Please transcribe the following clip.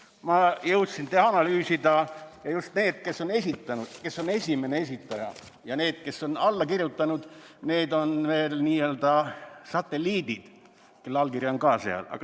Ma jõudsin analüüsida just seda, kes on esitanud, kes on esimene esitaja, ja seda, kes on alla kirjutanud, sest on ju veel n-ö satelliidid, kelle allkiri on ka seal.